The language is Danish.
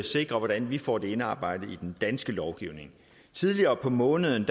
sikre hvordan vi får det indarbejdet i den danske lovgivning tidligere på måneden